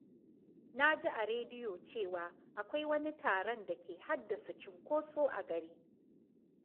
Na ji a rediyo cewa akwai wani taron da ke haddasa cunkoso a gari.